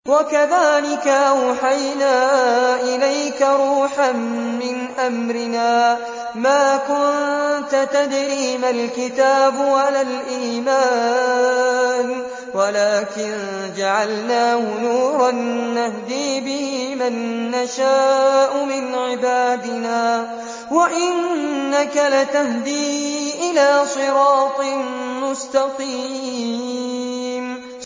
وَكَذَٰلِكَ أَوْحَيْنَا إِلَيْكَ رُوحًا مِّنْ أَمْرِنَا ۚ مَا كُنتَ تَدْرِي مَا الْكِتَابُ وَلَا الْإِيمَانُ وَلَٰكِن جَعَلْنَاهُ نُورًا نَّهْدِي بِهِ مَن نَّشَاءُ مِنْ عِبَادِنَا ۚ وَإِنَّكَ لَتَهْدِي إِلَىٰ صِرَاطٍ مُّسْتَقِيمٍ